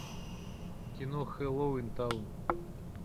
кино хэллоуинтаун